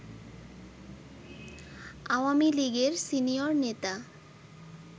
আওয়ামী লীগের সিনিয়র নেতা